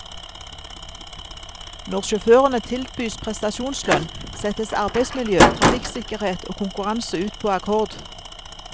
Når sjåførene tilbys prestasjonslønn, settes arbeidsmiljø, trafikksikkerhet og konkurranse ut på akkord.